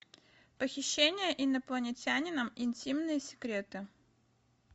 похищение инопланетянином интимные секреты